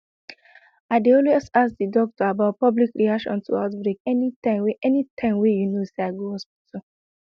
i dey always ask the doctor about public reaction to outbreak anytym wey anytym wey you know say i go hospital